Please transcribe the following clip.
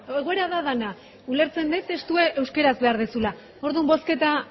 egoera da dena ulertzen dut testua euskaraz behar duzula orduan bozketa